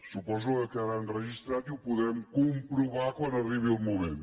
suposo que quedarà enregistrat i ho podrem comprovar quan arribi el moment